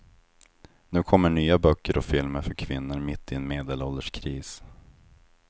Nu kommer nya böcker och filmer för kvinnor mitt i en medelålderskris.